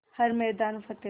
हर मैदान फ़तेह